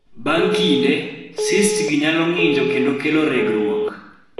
Bang� kinde, cysts gi nyalo ng�injo kendo kelo regruok.